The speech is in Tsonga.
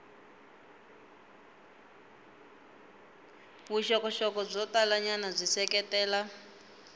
vuxokoxoko byo talanyana byi seketela